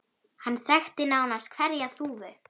Hann þekkti nánast hverja þúfu.